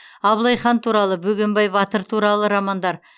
абылайхан туралы бөгенбай батыр туралы романдар